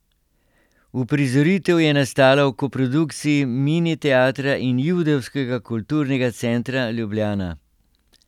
Uprizoritev je nastala v koprodukciji Mini teatra in Judovskega kulturnega centra Ljubljana.